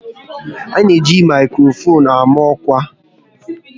A na eji maikrofon ama ọkwa